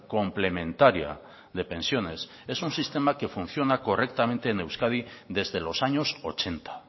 complementaria de pensiones es un sistema que funciona correctamente en euskadi desde los años ochenta